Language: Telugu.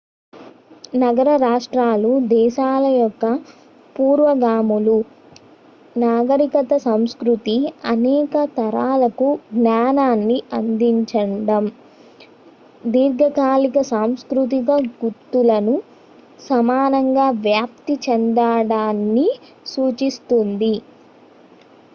నగర-రాష్ట్రాలు దేశాల యొక్క పూర్వగాములు నాగరికత సంస్కృతి అనేక తరాలకు జ్ఞానాన్ని అందించడం దీర్ఘకాలిక సాంస్కృతిక గుర్తులను సమానంగా వ్యాప్తి చెందిచడాన్ని సూచిస్తుంది